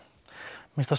finnst það